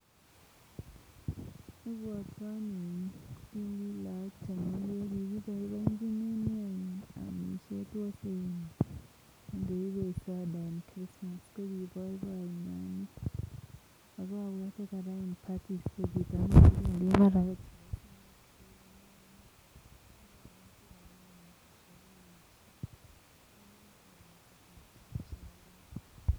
ibwotwon ko kii lagok chemengek keibe soda ko christmas ko ki boboiyet neo nea